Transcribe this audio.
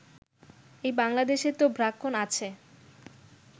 এই বাংলাদেশে তো ব্রাহ্মণ আছে